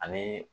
Ani